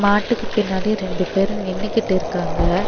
மாட்டுக்கு பின்னாடி ரெண்டு பேரு நின்னுகிட்டிருக்காங்க.